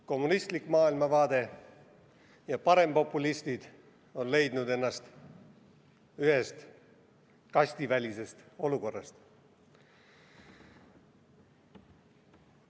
Kommunistlik maailmavaade ja parempopulistid on leidnud ennast ühest kastivälisest olukorrast.